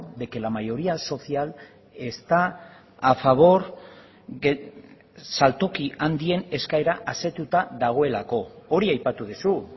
de que la mayoría social está a favor saltoki handien eskaera asetuta dagoelako hori aipatu duzu